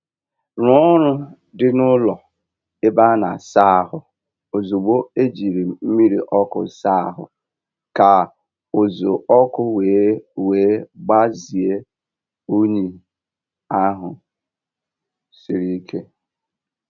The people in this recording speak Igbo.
Rụọ ọrụ dị n'ụlọ ebe a na - asa ahụ ozugbo e jiri mmiri ọkụ saa ahụ, ka uzu ọkụ wee wee gbazia unyi ahụ siri ike.